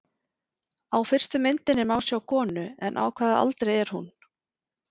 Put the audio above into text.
Á fyrstu myndinni má sjá konu, en á hvaða aldri er hún?